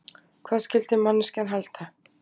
Hvað skyldi manneskjan halda?